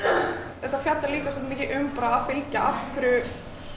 þetta fjallar líka svolítið mikið um bara að fylgja af hverju